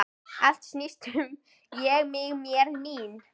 Allt snýst um Ég, mig, mér, mín.